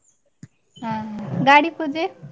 ಹ ಹ, ಗಾಡಿ ಪೂಜೆ?